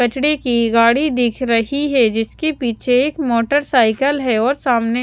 कचड़े ‌की गाड़ी दिख रही है जिसके पीछे एक मोटरसाइकिल है और सामने--